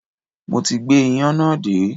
Mo ti gbé iyán náà dé